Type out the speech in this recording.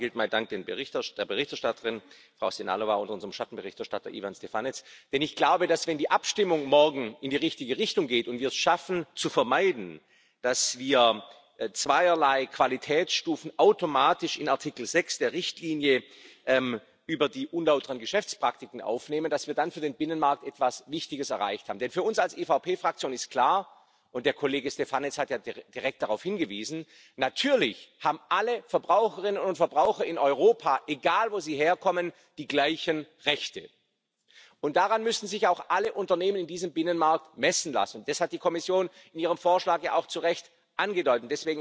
Zunächst mal gilt mein Dank der Berichterstatterin Frau Sehnalová und unserem Schattenberichterstatter Ivan Štefanec, denn ich glaube, dass, wenn die Abstimmung morgen in die richtige Richtung geht und wir es schaffen zu vermeiden, dass wir zweierlei Qualitätsstufen automatisch in Artikel 6 der Richtlinie über unlautere Geschäftspraktiken aufnehmen, dass wir dann für den Binnenmarkt etwas Wichtiges erreicht haben. Für uns als EVP Fraktion ist klar, und der Kollege Štefanec hat ja direkt darauf hingewiesen Natürlich haben alle Verbraucherinnen und Verbraucher in Europa egal, woher sie kommen die gleichen Rechte. Und daran müssen sich auch alle Unternehmen in diesem Binnenmarkt messen lassen. Das hat die Kommission in ihrem Vorschlag ja auch zu Recht angedeutet.